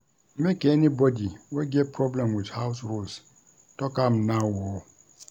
Make anybody wey get problem wit house rules tok am now o.